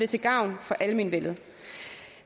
til gavn for almenvellet